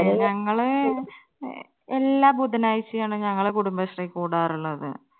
ഞങ്ങള് എല്ലാ ബുധനാഴ്ചയാണ് ഞങ്ങള് കുടുംബശ്രീ കൂടാറുള്ളത്.